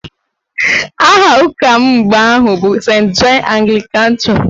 Aha ụka m mgbe ahụ bụ Sent Jọn Aglịkan chọọchị